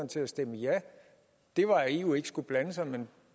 til at stemme ja var at eu ikke skulle blande sig men